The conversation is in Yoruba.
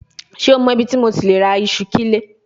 Ṣe o mọ ibiti MO ti le ra iṣu kile?